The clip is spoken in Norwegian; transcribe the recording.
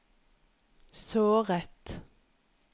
såret